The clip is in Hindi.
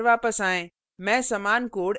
अपने program पर वापस आएँ